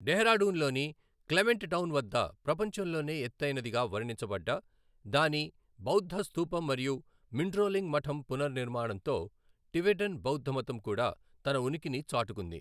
డెహ్రాడూన్ లోని క్లెమెంట్ టౌన్ వద్ద ప్రపంచంలోనే ఎత్తైనదిగా వర్ణించబడ్డ దాని బౌద్ధ స్థూపం మరియు మిండ్రోలింగ్ మఠం పునర్నిర్మాణంతో టిబెటన్ బౌద్ధమతం కూడా తన ఉనికిని చాటుకుంది.